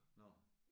Nåh